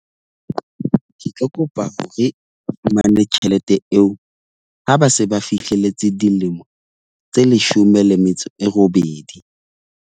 Ke tlo kopa hore o fumane tjhelete eo, ha ba se ba fihlelletse dilemo tse leshome le metso e robedi.